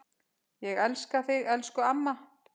Ég elska þig, elsku amma.